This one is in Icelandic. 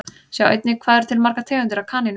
Sjá einnig Hvað eru til margar tegundir af kanínum?